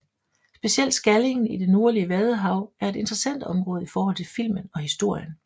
Specielt Skallingen i det nordlige Vadehav er et interessant område i forhold til filmen og historien